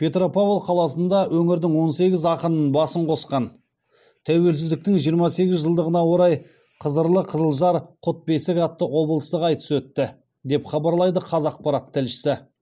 петропавл қаласында өңірдің он сегіз ақынын басын қосқан тәуелсіздіктің жиырма сегіз жылдығына орай қызырлы қызылжар құт бесік атты облыстық айтыс өтті деп хабарлайды қазақпарат тілшісі